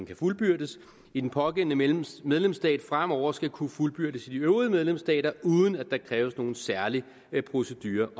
kan fuldbyrdes i den pågældende medlemsstat medlemsstat fremover skal kunne fuldbyrdes i de øvrige medlemsstater uden at der kræves nogen særlig procedure